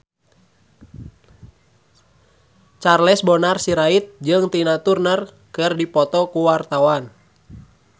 Charles Bonar Sirait jeung Tina Turner keur dipoto ku wartawan